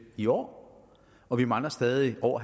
i år og vi mangler stadig over